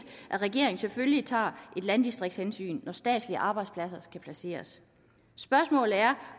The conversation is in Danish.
at regeringen selvfølgelig tager et landdistriktshensyn når statslige arbejdspladser skal placeres spørgsmålet er